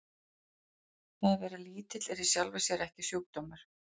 Það að vera lítill er í sjálfu sér ekki sjúkdómur.